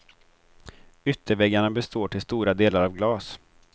Ytterväggarna består till stora delar av glas.